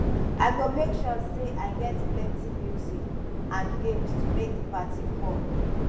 i go make sure say i get plenty music and games to make di party fun